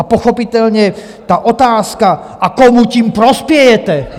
A pochopitelně ta otázka: a komu tím prospějete?